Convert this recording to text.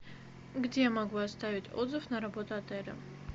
где я могу оставить отзыв на работу отеля